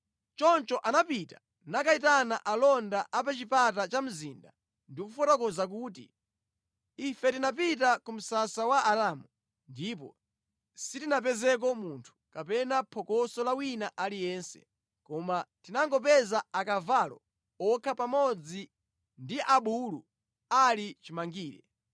Choncho anapita nakayitana alonda a pa chipata cha mzinda ndi kufotokoza kuti, “Ife tinapita ku msasa wa Aaramu ndipo sitinapezeko munthu, kapena phokoso la wina aliyense koma tinangopeza akavalo okha pamodzi ndi abulu ali chimangire.”